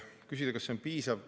Küsid, kas see on piisav.